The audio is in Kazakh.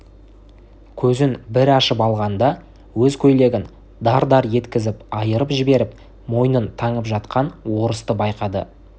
көзін бір ашып алғанда өз көйлегін дар-дар еткізіп айырып жіберіп мойнын таңып жатқан орысты байқады